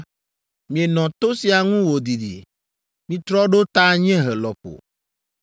“Mienɔ to sia ŋu wòdidi. Mitrɔ ɖo ta anyiehe lɔƒo.